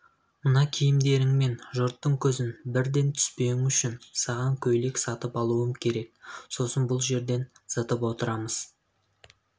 мына киімдеріңмен жұрттың көзін бірден түспеуің үшін саған көйлек сатып алуым керек сосын бұл жерден зытып отырамыз